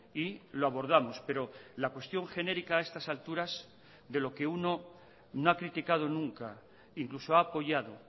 y lo abordamos pero la cuestión genérica a estas alturas de lo que uno no ha criticado nunca incluso ha apoyado